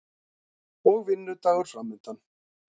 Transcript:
Og vinnudagur framundan.